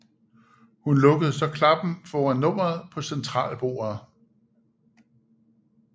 Hun lukkede så klappen foran nummeret på centralbordet